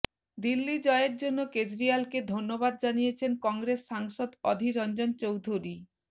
দিল্লি জয়ের জন্য কেজরিওয়ালকে ধন্যবাদ জানিয়েছেন কংগ্রেস সাংসদ অধীররঞ্জন চৌধুরী